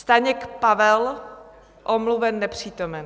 Staněk Pavel: Omluven, nepřítomen.